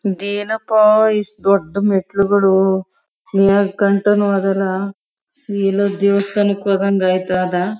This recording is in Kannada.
ಇದು ಏನಪ್ಪಾ ಇಷ್ಟು ದೊಡ್ಡ್ ಮೆಟ್ಲುಗಳು ಮೇಕಂಟಾನು ಅದಲ್ಲ ಎಲ್ಲೊ ದೇವಸ್ಥಾನಕ್ ಹೋದಂಗ ಆಯ್ತದ .